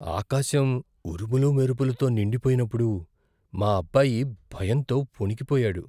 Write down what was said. ఆకాశం ఉరుములు, మెరుపులతో నిండిపోయినప్పుడు మా అబ్బాయి భయంతో వణికిపోయాడు.